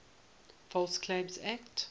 false claims act